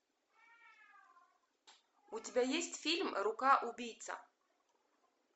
у тебя есть фильм рука убийца